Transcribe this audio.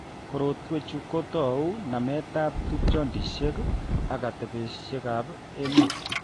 Korotwekchu ko kotou nametab tupchondishek ak atebeshekab emet